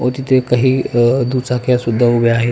व तिथे काही अ दुचक्या सुद्धा उभ्या आहेत.